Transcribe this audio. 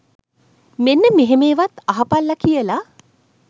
මෙන්න මෙහෙම ඒවත් අහපල්ලා කියලා